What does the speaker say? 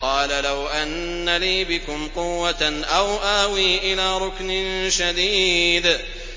قَالَ لَوْ أَنَّ لِي بِكُمْ قُوَّةً أَوْ آوِي إِلَىٰ رُكْنٍ شَدِيدٍ